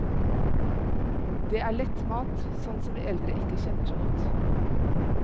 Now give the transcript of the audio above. Det er lett mat, sånn som vi eldre ikke kjenner så godt.